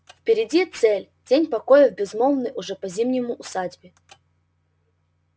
впереди цель день покоя в безмолвной уже по-зимнему усадьбе